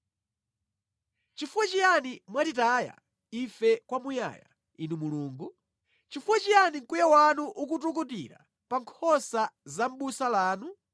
Nʼchifukwa chiyani mwatitaya ife kwamuyaya, Inu Mulungu? Chifukwa chiyani mkwiyo wanu ukutukutira pa nkhosa za busa lanu?